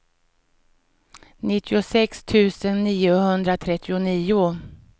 nittiosex tusen niohundratrettionio